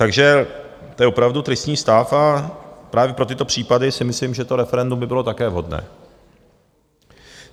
Takže to je opravdu tristní stav a právě pro tyto případy si myslím, že to referendum by bylo také vhodné.